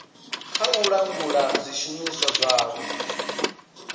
kha u langula zwishumiswa zwavho